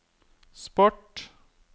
sport